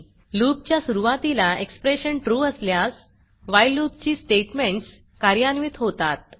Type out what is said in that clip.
loopलूप च्या सुरूवातीला एक्सप्रेशन trueट्रू असल्यास व्हाईल loopवाइल लूप ची स्टेटमेंट्स कार्यान्वित होतात